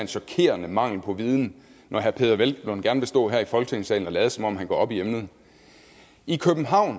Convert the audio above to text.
chokerende mangel på viden når herre peder hvelplund gerne vil stå her i folketingssalen og lade som om han går op i emnet i københavn